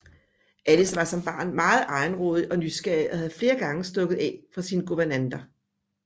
Alice var som barn meget egenrådig og nysgerrig og havde flere gange stukket af fra sine guvernanter